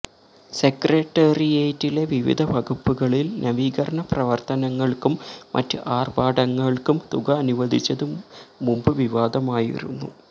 സെക്രട്ടേറിയറ്റിലെ വിവിധ വകുപ്പുകളിൽ നവീകരണ പ്രവർത്തനങ്ങൾക്കും മറ്റ് ആർഭാടങ്ങൾക്കും തുക അനുവദിച്ചത് മുമ്പ് വിവാദമായിരുന്നു